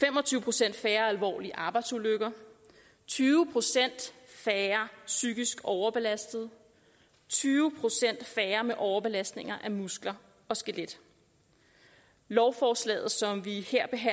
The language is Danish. fem og tyve procent færre alvorlige arbejdsulykker tyve procent færre psykisk overbelastede tyve procent færre med overbelastninger af muskler og skelet lovforslaget som vi